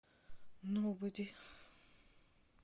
ноубоди